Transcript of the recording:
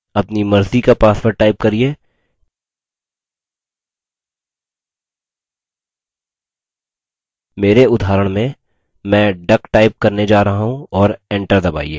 अपनी मर्ज़ी का password type करिये मेरे उदाहरण में मैं duck type करने जा रहा हूँ और enter दबाइए